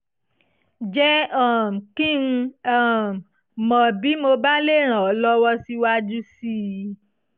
jẹ́ um kí n um mọ̀ bí mo bá lè ràn ọ́ lọ́wọ́ síwájú sí i